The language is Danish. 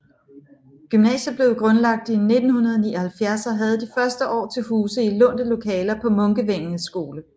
Gymnasiet blev grundlagt i 1979 og havde de første år til huse i lånte lokaler på Munkevængets Skole